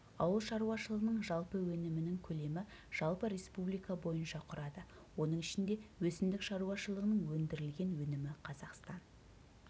ауыл шаруашылығының жалпы өнімінің көлемі жалпы республика бойынша құрады оның ішінде өсімдік шаруашылығының өндірілген өнімі қазақстан